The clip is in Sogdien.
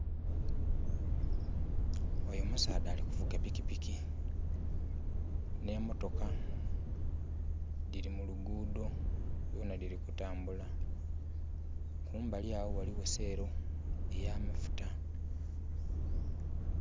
Oyo musaadha ali kuvuga pikipiki, nhe motoka dhiri mu lugudho dhona dhiri kutambula. Kumbali agho ghaligho shello ey'amafuta.